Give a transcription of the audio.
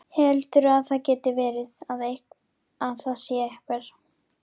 Heldurðu að það geti verið. að það sé einhver.